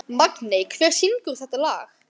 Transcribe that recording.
Magney, hver syngur þetta lag?